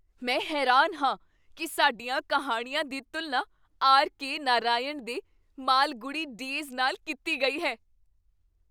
ਮੈਂ ਹੈਰਾਨ ਹਾਂ ਕੀ ਸਾਡੀਆਂ ਕਹਾਣੀਆਂ ਦੀ ਤੁਲਨਾ ਆਰ ਕੇ ਨਰਾਇਣ ਦੇ ਮਾਲਗੁੜੀ ਡੇਜ਼ ਨਾਲ ਕੀਤੀ ਗਈ ਹੈ!